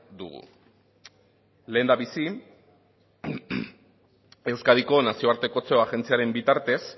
dugu lehendabizi euskadiko nazioartekotze agentziaren bitartez